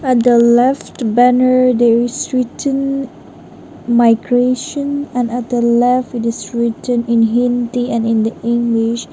at the left banner there is written migration and at the left it is written in hindi and in the english.